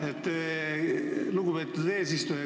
Aitäh, lugupeetud eesistuja!